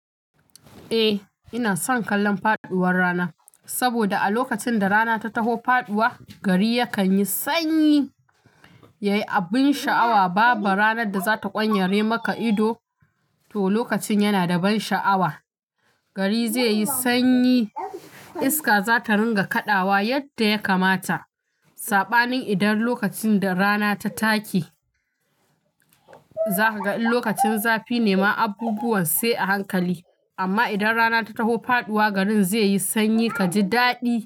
Eh, ina son kallon faduwar rana saboda a lokacin da rana ta taho faduwa gari yakan yi sanyi. Yayi abin sha'awa baba. Ranar da zata ƙwanyare maka ido to lokacin yana da ban sha'awa. Gari zai yi sanyi, iska zata ringa kaɗawa yadda ya kamata. Saɓanin idan lokacin da rana ta take za ka ga in lokacin zafi nema abubuwan sai a hankali. Amma idan rana ta taho faduwa garin zai yi sanyi kaji daɗi.